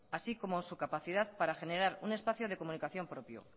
así como su capacidad para generar un espacio de comunicación propio